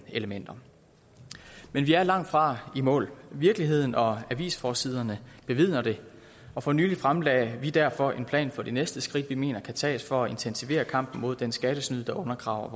elementer men vi er langtfra i mål virkeligheden og avisforsiderne bevidner det og for nylig fremlagde vi derfor en plan for de næste skridt vi mener kan tages for at intensivere kampen mod den skattesnyd der undergraver